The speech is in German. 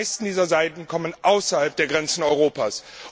Die meisten dieser Seiten kommen von außerhalb der Grenzen Europas.